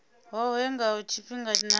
hohe ha u tshimbidza na